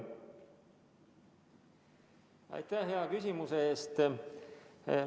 Aitäh hea küsimuse eest!